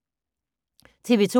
TV 2